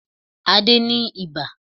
Adé ní ibà